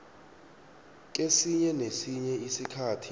kesinye nesinye isikhathi